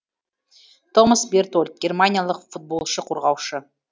томас бертольд германиялық футболшы қорғаушы